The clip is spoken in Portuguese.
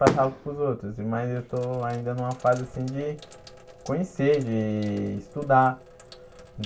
passava para os outros, mas eu estou ainda numa fase assim de conhecer, de estudar.